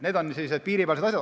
Need on sellised piiripealsed asjad.